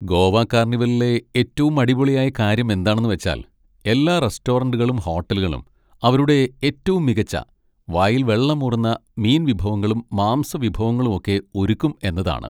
ഗോവ കാർണിവലിലെ ഏറ്റവും അടിപൊളിയായ കാര്യം എന്താണെന്ന് വെച്ചാൽ എല്ലാ റെസ്റ്റോറന്റുകളും ഹോട്ടലുകളും അവരുടെ ഏറ്റവും മികച്ച വായിൽ വെള്ളമൂറുന്ന മീൻ വിഭവങ്ങളും മാംസവിഭവങ്ങളും ഒക്കെ ഒരുക്കും എന്നതാണ്.